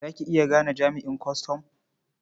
Za ki iya gane jami'an kwastam?